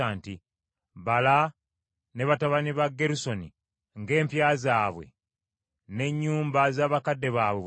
“Bala ne batabani ba Gerusoni ng’empya zaabwe n’ennyumba z’abakadde baabwe bwe ziri.